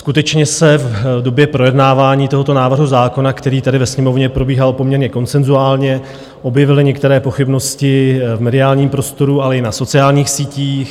Skutečně se v době projednávání tohoto návrhu zákona, které tady ve Sněmovně probíhalo poměrně konsenzuálně, objevily některé pochybnosti v mediálním prostoru, ale i na sociálních sítích.